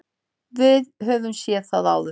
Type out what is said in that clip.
Við höfum séð það áður.